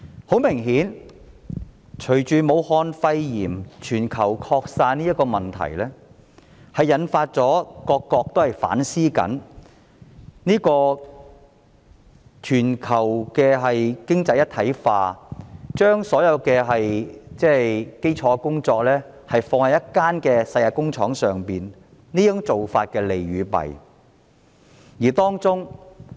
很明顯，隨着武漢肺炎全球擴散，引發各國反思全球經濟一體化的議題，審視將所有基礎工作放在一間世界工廠上的做法的利與弊。